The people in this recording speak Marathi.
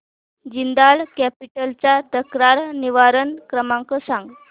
जिंदाल कॅपिटल चा तक्रार निवारण क्रमांक सांग